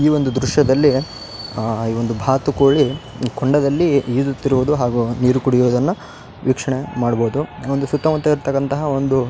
ಈ ಒಂದು ದ್ರಶ್ಯದಲ್ಲಿ ಅಹ್ ಈ ಒಂದು ಬಾತುಕೋಳಿ ಕೊಂಡದಲ್ಲಿ ಈಜುತ್ತಿರುವುದು ಹಾಗು ನೀರು ಕುಡಿಯುವುದನ್ನು ವೀಕ್ಷಣೆ ಮಾಡಬಹುದು. ಒಂದು ಸುತ್ತಮುತ್ತ ಇರ್ತಕ್ಕಂತಹ ಒಂದು --